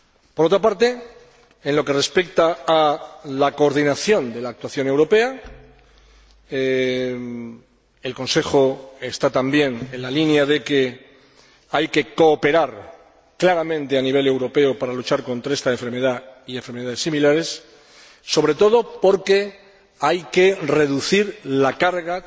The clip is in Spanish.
Por otra parte, en lo que respecta a la coordinación de la actuación europea, el Consejo está también en la línea de que hay que cooperar claramente a nivel europeo para luchar contra esta enfermedad y enfermedades similares, sobre todo porque hay que reducir la carga